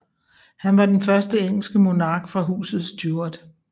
Han var den første engelske monark fra Huset Stuart